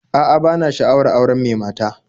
A'a, bana sha'awar auren mai mata